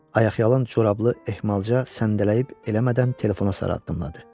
Ayaqyalın corablı ehmalca səndələyib eləmədən telefona sarı addımladı.